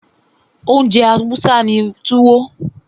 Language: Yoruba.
Oúnjẹ Hausa ni Tuwo.